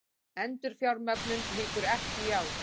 Endurfjármögnun lýkur ekki í ár